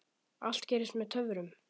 Allt gerist með töfrum.